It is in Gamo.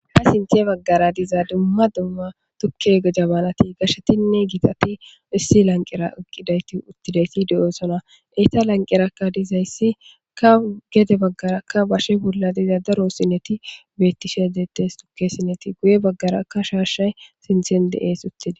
Ha sintiye baggara diza dumma dumma tukke jabanati gashshetinne gitati issi lanqera iqqidayti uttidayti de'osona eyta lanqerakka dizayssi ka gede baggarakka bashe wulla diza daro sinneti bettishe deettes tukke sinneti guye baggara ka shaashay sinthen de'ees uttida.